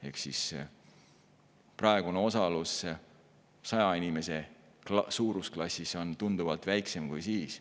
Ehk praegune osalus, mis on saja inimese suurusklassis, on tunduvalt väiksem kui toona.